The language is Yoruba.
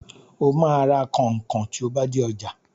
Ó máa ra kọnkọn tí o bá dé ọjà.